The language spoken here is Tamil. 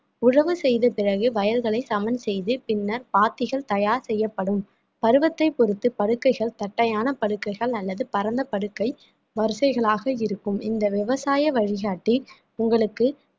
உழவு செய்த பிறகு வயல்களை சமன் செய்து பின்னர் பாத்திகள் தயார் செய்யப்படும் பருவத்தைப் பொறுத்து படுக்கைகள் தட்டையான படுக்கைகள் அல்லது பரந்த படுக்கை வரிசைகளாக இருக்கும் இந்த விவசாய வழிகாட்டி உங்களுக்கு